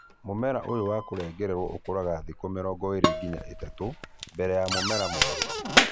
Mũmera ũyũ wa kũrengererwo ũkũraga thikũ 20-30 mbere ya mũmera mwerũ